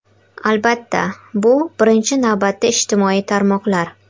Albatta, bu birinchi navbatda ijtimoiy tarmoqlar.